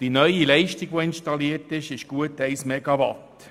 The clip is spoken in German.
Die neu zu installierende Leistung beträgt gut 1 Megawatt.